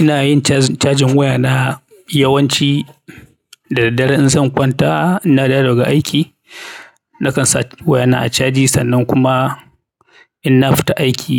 Ina yin cajin wayana yawanci da daddare in zan kwanta. Ina dawo daga aiki nakan sa wayana a caji sannan kuma in na fita aiki